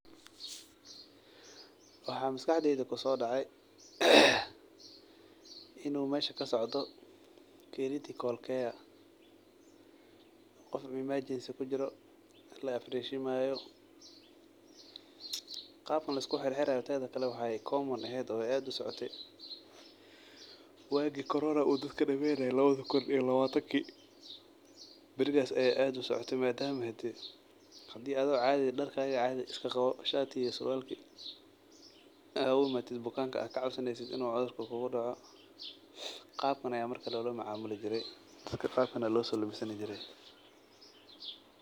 Waxaa maskaxdeyda kuso dacay in u mesha kasocdo critical care oo nin imagines kujiro oo la ibreshimayo qabkan lisku xir xirayo waxee qab u ehed wagi korona dadka u dameynaye lawadha kun iyo lawatanki barigas ayey aad u socota madama hadi ee adhiga oo cadhi ah darkaga cadhi iska qawo sharki iyo sarwalkisa aa ogu imato bukanka aad ka cabsaneysid in u cudhurka kugu ridho qabkan aya marka loloa macamuli jire marka qabkan aya loso labisani jire.